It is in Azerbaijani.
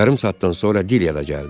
Yarım saatdan sonra Dilya da gəldi.